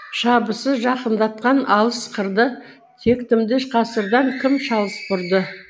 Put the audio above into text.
шабысы жақындатқан алыс қырды тектімді ғасырдан кім шалыс бұрды